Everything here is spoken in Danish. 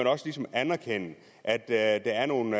også ligesom anerkende at der er nogle